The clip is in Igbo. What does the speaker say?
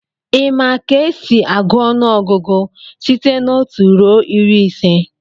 Ị ma ka esi agụọ ọnụọgụgụ site n'otu ruo iri ise?